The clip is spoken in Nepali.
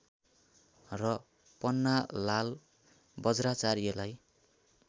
र पन्नालाल वज्राचार्यलाई